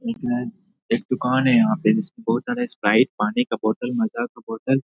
एक दूकान है यहाँ पे जिसको स्प्राइट पानी का बोतल माजा का बोतल --